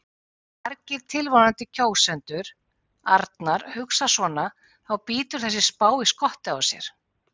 Ef margir tilvonandi kjósendur Arnar hugsa svona þá bítur þessi spá í skottið á sér.